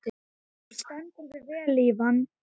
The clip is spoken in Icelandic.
Þú stendur þig vel, Ívan!